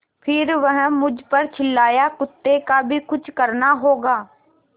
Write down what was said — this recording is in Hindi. फिर वह मुझ पर झल्लाया कुत्ते का भी कुछ करना होगा